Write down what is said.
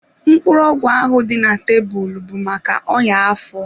Mkpụrụ ọgwụ ahụ dị na tebụl bụ maka ọya afọ.